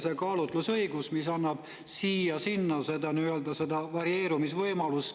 See kaalutlusõigus annab siia-sinna seda nii-öelda varieerumisvõimalust.